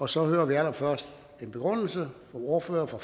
så hører vi allerførst en begrundelse fra ordføreren for